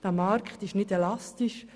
Dieser Markt ist nicht elastisch.